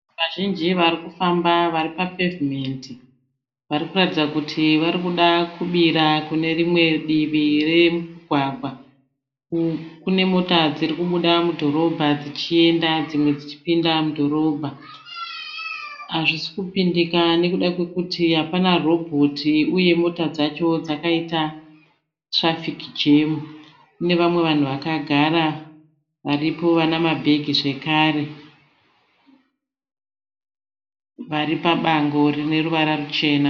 Vazhinji vari kufamba vari papevhimendi. Vari kuratidza kuti vari kuda kubira kune rimwe divi remugwagwa. Kune mota dziri kubuda mudhorobha dzichienda dzimwe dzichipinda mudhorobha. Hazvisi kupindika nokuda kwokuti hapana robhoti uye mota dzacho dzakaita tirafiki jemu. Kune vamwe vanhu vakagara varipo vane mabhege zvekare vari pabango rine ruvara ruchena.